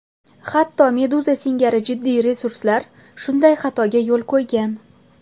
Hatto Meduza singari jiddiy resurslar shunday xatoga yo‘l qo‘ygan.